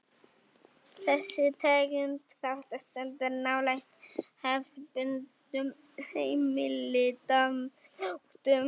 Þessi tegund þátta stendur nálægt hefðbundnum heimildaþáttum.